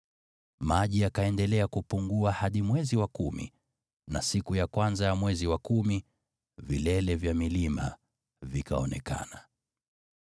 Maji yakaendelea kupungua hadi mwezi wa kumi, na siku ya kwanza ya mwezi wa kumi, vilele vya milima vikaonekana.